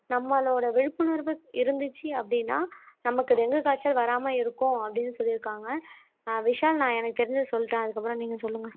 நம்மளோட விழிப்புணர்வு இருந்துச்சு அப்படின்னா நம்மக்கு டெங்கு காய்ச்சல் வராம இருக்கும் அப்படீன்னு சொல்லிருக்காங்க ஆஹ் விஷால் நான் எனக்கு தெரிஞ்சத சொல்லிட்டேன் அதுக்கப்புறம் நீங்க சொல்லுங்க